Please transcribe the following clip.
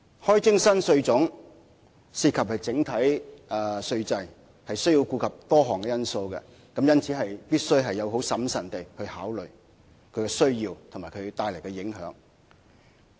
開徵新稅項涉及整體稅制，要顧及多項因素，因此必須審慎考慮是否有此需要及帶來的影響。